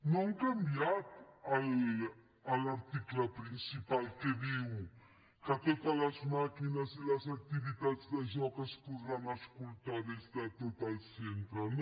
no han canviat l’article principal que diu que totes les màquines i totes les activitats de joc es podran escoltar des de tot el centre no